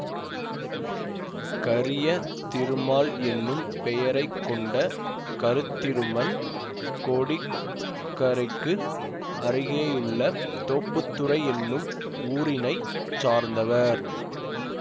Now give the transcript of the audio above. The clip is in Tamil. கரிய திருமால் என்னும் பெயரை கொண்ட கருத்திருமன் கோடி கரைக்கு அருகேயுள்ள தோப்புத்துறை என்னும் ஊரினைச் சார்ந்தவர்